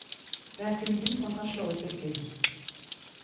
Det er kun hvit som kan slå ut brikker.